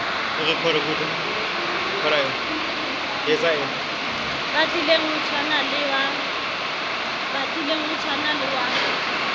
batlileng o tshwana le wa